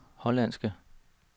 hollandske